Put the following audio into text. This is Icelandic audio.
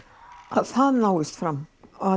að það náist fram